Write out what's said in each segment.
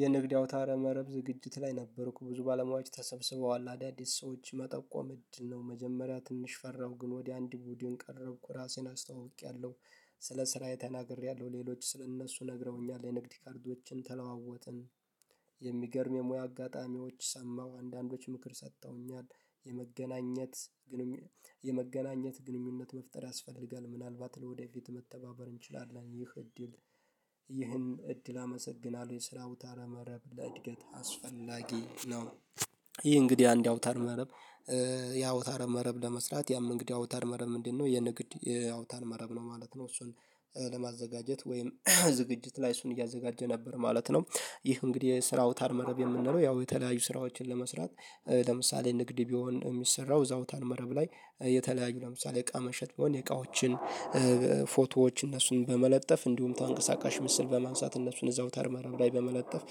የንግድ አውታረ መረብ ዝግጅት ላይ ነበርኩ ብዙ ባለሞያዎች ተሰብስበዋል አዳዲስ ሰዎች መጠቆም እድል ነው መጀመሪያ ትንሽ ፈራሁ ግን ወዲያ አንድ ቡድን ቀረብኩ ራሴን አስተዋውቄያለሁ። ስለ ስራዬ ተናግሬያለሁ ሌሎች ስለ እነሱ ነግረውኛል የንግድ ካርዶችን ተለዋወጥን። የሚገርም የሙያ አጋጣሚዎች ሰማሁ አንዳንዶች ምክር ሰጥተውኛል የመገናኘት የመገናኘት ግንኙነት መፍጠር ያስፈልጋል ምናልባት ለወደፊት መተባበር እንችላለን ይህ እድል። ይህን እድል አመሰግናለሁ የስራው አውታረ መረብ ለእድገት አስፈላጊ ነው። ይህ እንግዲህ አንድ አውታር መረብ ያውታር መረብ ለመስራት ያም እንግዲህ አውታር መረብ ምንድነው? የንግድ ያውታር መረብ ነው ማለት ነው። እሱን ለማዘጋጀት ወይም ዝግጅት ላይ እሱን እያዘጋጀ ነበር ማለት ነው። ይህ እንግዲህ የስራው አውታር መረብ የምንለው ያው የተለያዩ ስራዎችን ለመስራት ለምሳሌ ንግድ ቢሆን የሚሰራው እዛ አውታን መረብ ላይ የተለያዩ ለምሳሌ እቃ መሸጥ ቢሆን እቃዎችን። ፎቶዎች እነሱን በመለጠፍ እንዲሁም ተንቀሳቃሽ ምስል በማንሳት እነሱን እዛው አውታር መረብ ላይ በመለጠፍ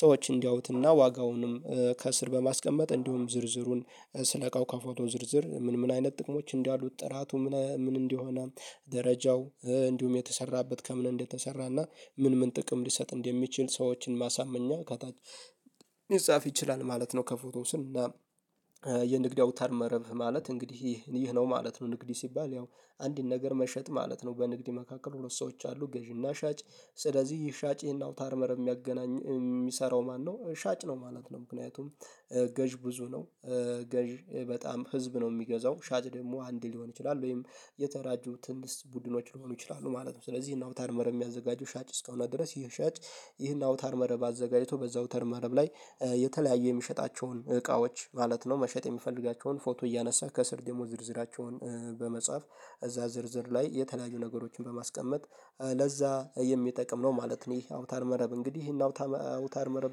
ሰዎች እንዲያውትና ዋጋውንም ከስር በማስቀመጥ እንዲሁም ዝርዝሩን ስለእቃው ከፎቶ ዝርዝር ምን ምን አይነት ጥቅሞች እንዳሉት ጥራቱ ምን ምን እንደሆነ ደረጃው እንዲሁም የተሰራበት ከምን እንደተሰራና ምን ምን ጥቅም ሊሰጥ እንደሚችል ሰዎችን ማሳመኛ ከታች ይጻፍ ይችላል ማለት ነው። ከፎቶ ስር እና አውታር መረብ ማለት እንግዲህ ይህ ነው ማለት ነው። ንግድ ሲባል ያው አንድን ነገር መሸጥ ማለት ነው። በንግድ መካከል ሁለት ሰዎች አሉ ገዢና ሻጭ ስለዚህ ሻጪና እና አውታር መረብ የሚያገናኝ የሚሰራው ማነው ሻጭ ነው ማለት ነው። ምክንያቱም ገዥ ብዙ ነው ገዥ በጣም ህዝብ ነው የሚገዛው ሻጭ ደግሞ አንድ ሊሆን ይችላል ወይም የተደራጁ ትንሽ ቡድኖች ሊሆኑ ይችላሉ ማለት ነው። ስለዚህ ናውታር መረብ የሚያዘጋጁ ሻጭ እስካሁን ድረስ ይሄ ሻጭ ይህን አውታር መረብ አዘጋጅቶ በዛ አውተር መረብ ላይ የተለያዩ የሚሸጣቸውን እቃዎች ማለት ነው መሸጥ የሚፈልጋቸውን ፎቶ እያነሳ ከስር ደግሞ ዝርዝራቸውን በመጻፍ እዛ ዝርዝር ላይ የተለያዩ ነገሮችን በማስቀመጥ ለዛ የሚጠቅም ነው ማለት ነው። ይሄ አውታር መረብ እንግዲህ ይሄን አውታ አውታር መረብ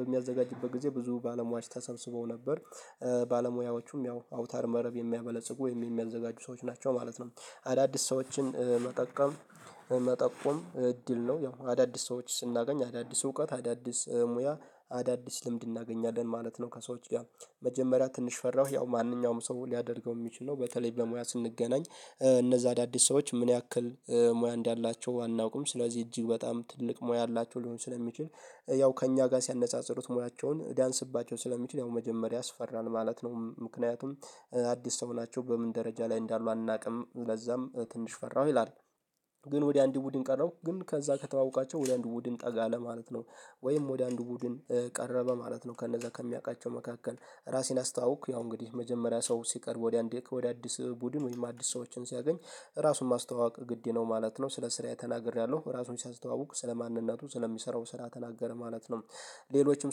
በሚያዘጋጅበት ጊዜ ብዙ ባለሙያዎች ተሰብስበው ነበር። ባለሙያዎቹም ያው አውታር መረብ የሚያበለጽጉ ወይም የሚያዘጋጁ ሰዎች ናቸው ማለት ነው። አዳዲስ ሰዎችን መጠቆም መጠቆም እድል ነው ያው አዳዲስ ሰዎች ስናገኝ አዳዲስ እውቀት አዳዲስ ሙያ አዳዲስ ልምድ እናገኛለን ማለት ነው። ከሰዎች ጋር መጀመሪያ ትንሽ ፈራሁ ያው ማንኛውም ሰው ሊያደርገው የሚችለው በተለይ በሙያ ስንገናኝ እነዛ አዳዲስ ሰዎች ምን ያክል ሙያ እንዳላቸው አናውቅም ስለዚህ እጅግ በጣም ትልቅ ሙያ አላቸው ሊሆን ስለሚችል ያው ከእኛ ጋር ሲያነጻጽሩት ሙያቸውን ልያንስባቸው ስለሚችል ያው መጀመሪያ ያፈራል ማለት ነው። ምክንያቱም አዲስ ሰው ሁናችሁ በምን ደረጃ ላይ እንዳሉ አናውቅም ለዛም ትንሽ ፈራሁ ይላል። ግን ወዲያ አንድ ቡድን ቀረው ግን ከዛ ከተዋወቃቸው ወደ አንድ ቡድን ጠጋ ለማለት ነው። ወይም ወደ አንድ ቡድን ቀረበ ማለት ነው። ከነዛ ከሚያውቃቸው መካከል ራሴን አስተዋወቅኩ ያው እንግዲህ መጀመሪያ ሰው ሲቀርብ ወደ አንድ ወደ አዲስ ቡድን ወይም አዲስ ሰዎችን ሲያገኝ ራሱን ማስተዋወቅ ግድ ነው ማለት ነው። ስለ ስራየ ተናግሬያለሁ ራሱን ሲያስተዋውቅ ስለ ማንነቱ ስለሚሰራው ስራ ተናገረ ማለት ነው። ሌሎችም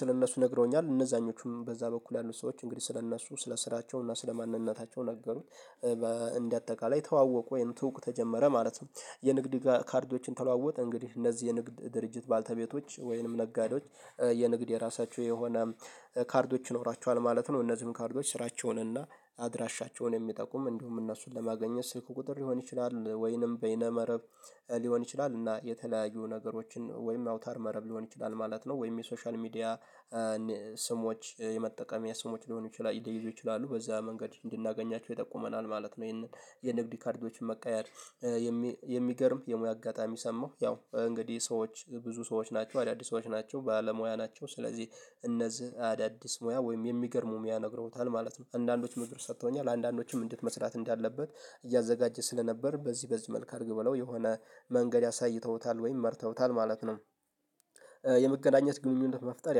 ስለእነሱ ነግረውኛል እነዛኞቹም በዛ በኩል ያሉት ሰዎች እንግዲህ ስለእነሱ ስለ ስራቸው እና ስለ ማንነታቸው ነገሩኝ በእንደ አጠቃላይ ተዋወቁ ወይንም ትውውቅ ተጀመረ ማለት ነው። የንግድ ካርዶችን ተለዋወጥ እንግዲህ እነዚህ የንግድ ድርጅት ባልተቤቶች ወይንም ነጋዴዎች የንግድ የራሳቸው የሆነ ካርዶች ይኖራቸዋል ማለት ነው። እነዚህም ካርዶች ስራቸውንና አድራሻቸውን የሚጠቁም እንዲሁም እነሱን ለማገኘት ስልክ ቁጥር ሊሆን ይችላል ወይንም በይነ መረብ ሊሆን ይችላል እና የተለያዩ ነገሮችን ወይም አውታር መረብ ሊሆን ይችላል ማለት ነው። ወይም የሶሻል ሚዲያ ስሞች የመጠቀሚያ ስሞች ሊሆኑ ይችላሉ በዛ መንገድ እንድናገኛቸው ይጠቁመናል ማለት ነው። ይሄንን የንግድ ካርዶችን መቀያየር የሚገርም የሙያ አጋጣሚ ሰማሁ ያው እንግዲህ ሰዎች ብዙ ሰዎች ናቸው አዳዲስ ሰዎች ናቸው ባለሙያ ናቸው ስለዚህ እነዚህ አዳዲስ ሙያ ወይም የሚገርም ሙያ ነግረውታል ማለት ነው። አንዳንዶች ምክር ሰጥተውኛል አንዳንዶችም እንዴት መስራት እንዳለበት እያዘጋጀ ስለነበር በዚህ በዚህ መልክ አድርግ ብለው የሆነ መንገድ አሳይተውታል ወይም ደግሞ መርተውታል ማለት ነው። የመገናኘት ግንኙነት መፍጠር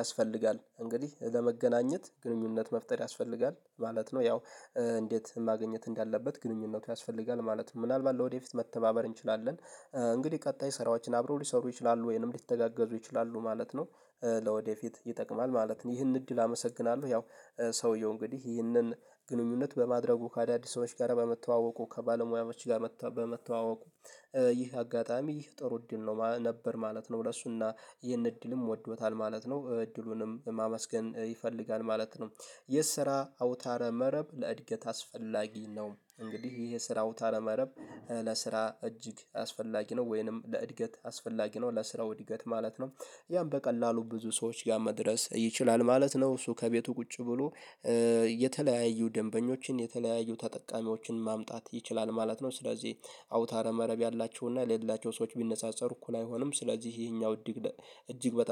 ያስፈልጋል እንግዲህ ለመገናኘት ግንኙነት መፍጠር ያስፈልጋል ማለት ነው። ያው እንዴት ማግኘት እንዳለበት ግንኙነቱ ያስፈልጋል ማለት ነው። ምናልባት ለወደፊት መተባበር እንችላለን። እንግዲህ ቀጣይ ስራዎችን አብሮ ሊሰሩ ይችላሉ ወይንም ሊተጋገዙ ይችላሉ ማለት ነው። ለወደፊት ይጠቅማል ማለት ነው። ይህን እድል አመሰግናለሁ። ያው ሰውየው እንግዲህ ይህንን ግንኙነት በማድረጉ ከአዳዲስ ሰዎች ጋር በመተዋወቁ ከባለሙያዎች ጋር በመተዋወቁ ይህ አጋጣሚ ይህ ጥሩ እድል ነው ነበር ማለት ነው። ለሱና ይህን እድልም ወዶታል ማለት ነው እድሉንም ማመስገን ይፈልጋል ማለት ነው። የስራ አውታረ መረብ ለእድገት አስፈላጊ ነው እንግዲህ ይሄ የስራ አውታረ መረብ ለስራ እጅግ አስፈላጊ ነው ወይንም ለእድገት አስፈላጊ ነው ለስራው እድገት ማለት ነው። ያም በቀላሉ ብዙ ሰዎች ጋር መድረስ ይችላል ማለት ነው። እሱ ከቤቱ ቁጭ ብሎ የተለያዩ ደንበኞችን የተለያዩ ተጠቃሚዎችን ማምጣት ይችላል ማለት ነው። ስለዚህ አውታረ መረብ ያላቸውና የሌላቸው ሰዎች ቢነፃፀሩ እኩል አይሆንም ስለዚህ ይሄኛው እጅግ በጣም